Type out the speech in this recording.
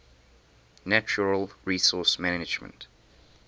natural resource management